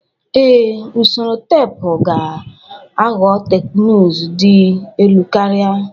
Ee, usoro teepu ga-aghọ teknụzụ dị elu karịa